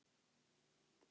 Eins og menn gera.